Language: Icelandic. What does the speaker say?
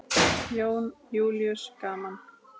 Jón Júlíus: Gaman?